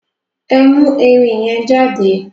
Ẹ mú ẹrin yẹn jáde!